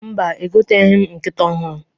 Mba, egoteghi m nkịta ọhụrụ.